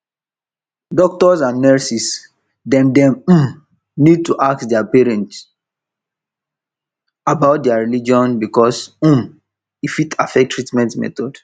doctors and nurses dem dem um need to ask their patients about their religion because um e fit affect treatment method